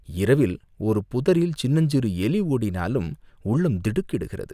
இரவில் ஒரு புதரில் சின்னஞ்சிறு எலி ஓடினாலும் உள்ளம் திடுக்கிடுகிறது!